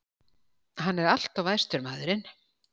Hann er alltof æstur, maðurinn.